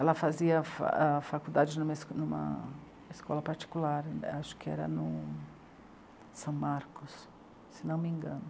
Ela fazia fa.. ahn faculdade vlculdade numa escola particular, acho que era no São Marcos, se não me engano.